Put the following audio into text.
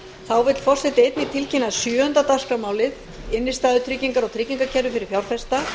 þá vill forseti einnig tilkynna að sjöunda dagskrármálið innstæðutryggingar og tryggingakerfi fyrir fjárfesta